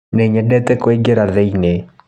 nĩnyendete kũingĩra thĩĩnĩ